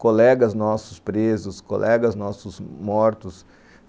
Colegas nossos presos, colegas nossos mortos.